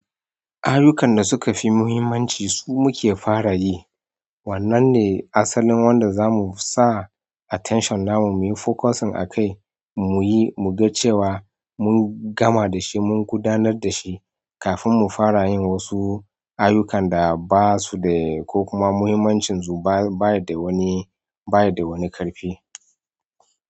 Ayyukan da suka fi muhimmanci su muke fara yi. Wannan ne asalin wanda zamu sa attention namu, muyi focusing akai muyi, mu ga cewa mun gama dashi, mun gudanar dashi kafin mu fara yin wasu ayyukan da basu da ko kuma muhimmancin su ba, baya da wani, baya da wani ƙarfi.